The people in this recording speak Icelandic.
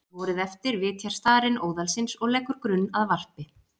Vorið eftir vitjar starinn óðalsins og leggur grunn að varpi.